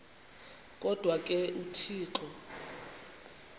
kodwa ke uthixo